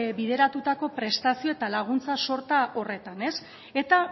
bideratutako prestazio eta laguntza sorta horretan eta